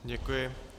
Děkuji.